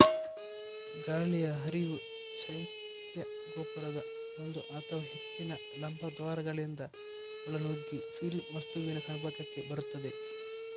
ಗಾಳಿಯ ಹರಿವು ಶೈತ್ಯಗೋಪುರದ ಒಂದು ಅಥವಾ ಹೆಚ್ಚಿನ ಲಂಬದ್ವಾರಗಳಿಂದ ಒಳನುಗ್ಗಿ ಫಿಲ್ ವಸ್ತುವಿನ ಸಂಪರ್ಕಕ್ಕೆ ಬರುತ್ತದೆ